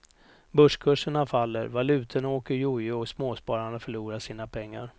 Börskurserna faller, valutorna åker jojo och småspararna förlorar sina pengar.